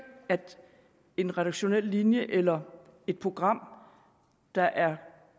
at en redaktionel linje eller et program der er